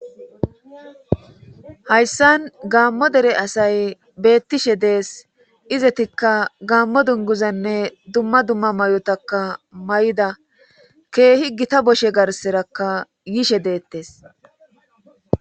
Hayssan gaammo dere asay beettishe dees izetikka gaammo dunguzanne dumma dumma may'otaka may'ida keehi gita boshshe garserakka yishe deettees